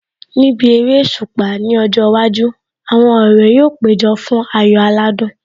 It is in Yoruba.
Níbi eréṣùpá ní ọjọ́ iwájú, àwọn ọ̀rẹ́ yóò péjọ fún ayò aládùn